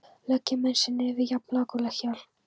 Leggja menn sig niður við jafn lágkúrulegt hjal?